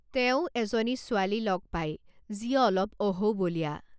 তেওঁ এজনী ছোৱালী লগ পায় যি অলপ অহৌবলিয়া।